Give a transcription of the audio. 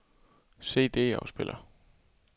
CD-afspiller